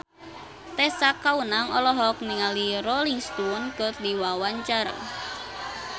Tessa Kaunang olohok ningali Rolling Stone keur diwawancara